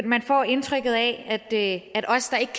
man får indtrykket af at os der ikke